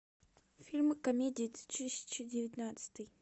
фильмы комедии две тысячи девятнадцатый